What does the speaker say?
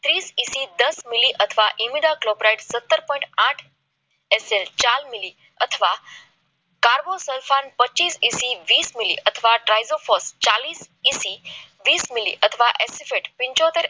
ત્રીસ એસી દસ મિલી અથવા ઈમેલા ક્લોક સત્તર પોઈન્ટ આઠ એસએસ ચાર મિલી અથવા કારબો શોષણ પચીસ ઈસી વીસ મિલી અથવા ચાલીસ ઇસી અથવા પંચોતેર